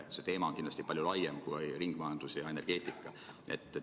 See teema on kindlasti palju laiem kui ringmajandus ja energeetika.